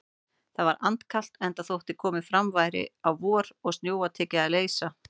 Það var andkalt, enda þótt komið væri fram á vor og snjóa tekið að leysa.